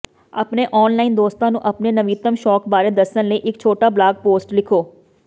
ਆਪਣੇ ਔਨਲਾਈਨ ਦੋਸਤਾਂ ਨੂੰ ਆਪਣੇ ਨਵੀਨਤਮ ਸ਼ੌਕ ਬਾਰੇ ਦੱਸਣ ਲਈ ਇੱਕ ਛੋਟਾ ਬਲਾਗ ਪੋਸਟ ਲਿਖੋ